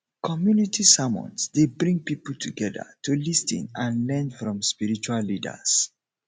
community sermons dey bring people together to lis ten and learn from spiritual leaders